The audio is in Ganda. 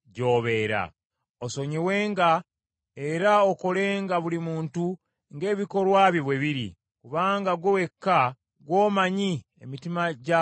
Osonyiwenga era okolenga buli muntu ng’ebikolwa bye bwe biri, kubanga ggwe wekka ggwe omanyi, emitima gy’abantu bonna,